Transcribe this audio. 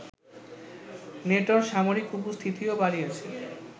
নেটোর সামরিক উপস্থিতিও বাড়িয়েছে